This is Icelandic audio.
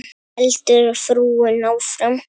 heldur frúin áfram.